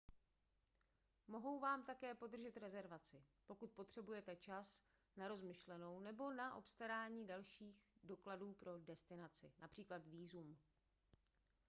mohou vám také podržet rezervaci pokud potřebujete čas na rozmyšlenou nebo na obstarání dalších dokumentů pro destinaci např. vízum